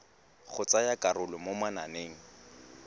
go tsaya karolo mo mananeng